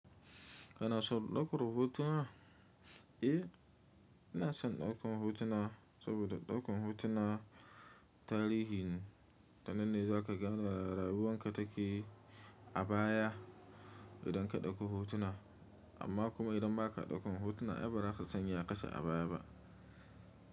Kana so ɗaukar hotuna? Eh ina son ɗaukan hotuna saboda ɗaukan hotuna tarihi ne ta nanne zaka gane rayuwan ka take abaya idan ka ɗauko hotuna amma kuma idan ba ka ɗaukan hotuna ai baza ka san yakake abaya ba.